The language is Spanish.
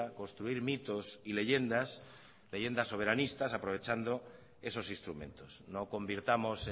construir mitos y leyendas leyendas soberanistas aprovechando esos instrumentos no convirtamos